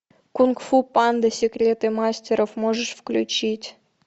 кунг фу панда секреты мастеров можешь включить